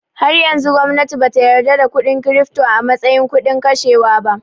Har yanzu gwamnati bata yarda da kuɗin kirifto a mastayin kudin kashewa ba